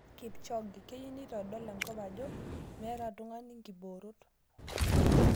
Kipchoge; keyieu neitodol enkop ajo meeta tung'ani nkiboorot.